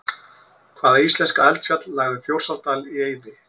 Hvaða íslenska eldfjall lagði Þjórsárdal í eyði?